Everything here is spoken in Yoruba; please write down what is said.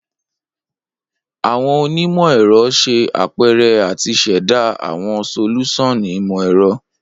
Awọn onimọ-ẹrọ ṣe apẹrẹ ati ṣẹda awọn solusan imọ-ẹrọ